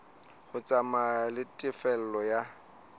ho tsamaya le tefello ya